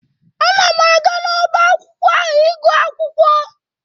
Ana m aga n'ọba akwụkwọ ahụ ịgụ akwụkwọ.